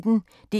DR P1